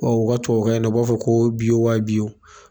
Wa o ka tubabukan in na o b'a fɔ ko wa